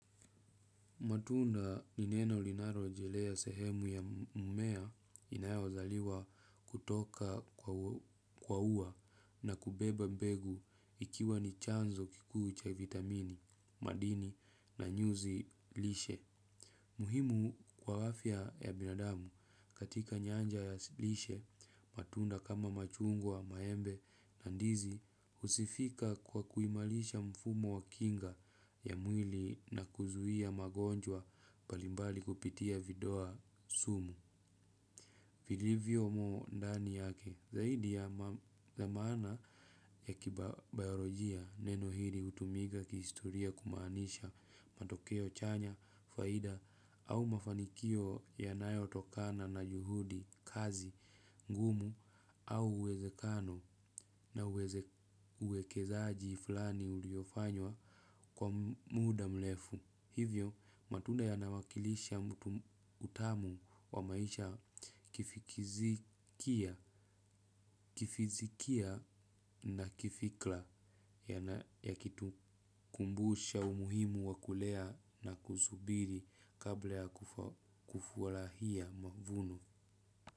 Matunda ni neno linalorejelea sehemu ya mmea inayozaliwa kutoka kwa ua na kubeba mbegu ikiwa ni chanzo kikuu cha vitamini, madini na nyuzi lishe. Muhimu kwa afya ya binadamu katika nyanja ya lishe matunda kama machungwa maembe na ndizi husifika kwa kuimarisha mfumo wa kinga ya mwili na kuzuia magonjwa mbalimbali kupitia vidoa sumu. Vilivyomo ndani yake zaidi ya za maana ya kibayalojia neno hili hutumika kihistoria kumaanisha matokeo chanya, faida au mafanikio yanayotokana na juhudi, kazi ngumu au uwezekano na uwekezaaji fulani uliofanywa kwa muda mrefu. Hivyo matunda yanawakilisha mtu utamu wa maisha kifizikia na kifikra ya kitu kumbusha umuhimu wa kulea na kusubiri kabla ya kufurahia mavuno.